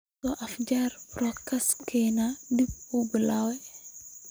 soo afjar podcast-kan dib u bilaw